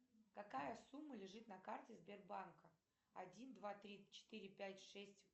какая сумма лежит на карте сбербанка один два три четыре пять шесть